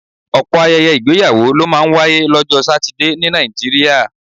Ọ̀pọ̀ ayẹyẹ ìgbéyàwó ló máa ń wáyé lọ́jọ́ Satidé ní Nàìjíríà